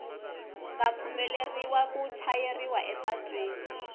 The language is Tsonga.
nga pfumeleriwa ku chayeriwa epatwini